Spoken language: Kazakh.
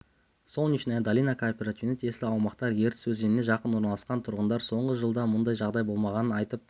солнечная долина кооперативіне тиесілі аумақтар ертіс өзеніне жақын орналасқан тұрғындар соңғы жылда мұндай жағдай болмағанын айтып